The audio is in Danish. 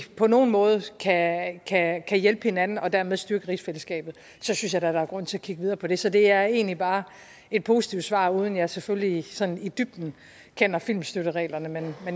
på nogen måde kan kan hjælpe hinanden og dermed styrke rigsfællesskabet synes jeg da der er grund til at kigge videre på det så det er egentlig bare et positivt svar uden at jeg selvfølgelig sådan i dybden kender filmstøttereglerne men